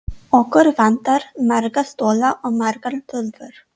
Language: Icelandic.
Okkur vantar marga stóla og margar tölvur.